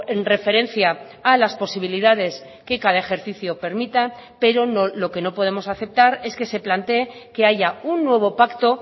en referencia a las posibilidades que cada ejercicio permita pero no lo que no podemos aceptar es que se plantee que haya un nuevo pacto